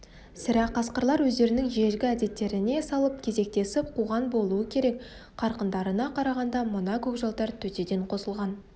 сірә қасқырлар өздерінің ежелгі әдеттеріне салып кезектесіп қуған болуы керек қарқындарына қарағанда мына көкжалдар төтеден қосылған